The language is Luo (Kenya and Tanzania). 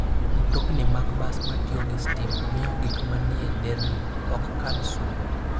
Mtokni mag bas ma tiyo gi stima miyo gik manie nderni ok kal sum.